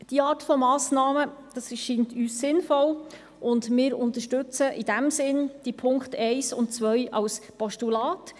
Diese Art von Massnahmen erscheinen uns als sinnvoll, und wir unterstützen in diesem Sinne die Punkte 1 und 2 als Postulat.